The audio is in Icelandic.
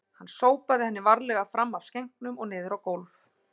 Hann sópaði henni varlega fram af skenknum og niður á gólf